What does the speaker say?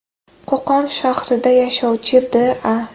Qo‘qon shahrida yashovchi D.A.